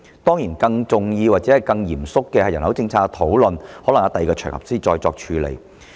當然，更重要或更嚴肅的人口政策的討論，可能在另一場合才能處理。